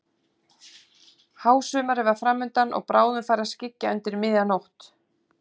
Hásumarið var fram undan og bráðum færi að skyggja undir miðja nótt.